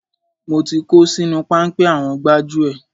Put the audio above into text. Mo ti kó sínú páńpẹ́ àwọn gbájúẹ̀.